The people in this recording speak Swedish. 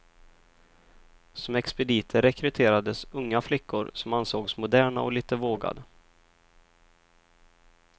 Som expediter rekryterades unga flickor, som ansågs moderna och lite vågade.